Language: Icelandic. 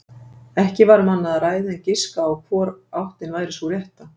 Ekki var um annað að ræða en giska á hvor áttin væri sú rétta.